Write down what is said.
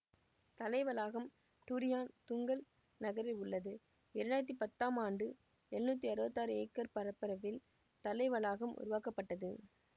தலை வளாகம் Durian Tunggal நகரில் உள்ளது இரண்டு ஆயிரத்தி பத்தாம் ஆண்டு எழுநூற்றி அறுபத்தி ஆறு ஏக்கர் பரப்பளவில் தலை வளாகம் உருவாக்கப்பட்டது